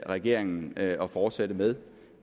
regeringen at fortsætte med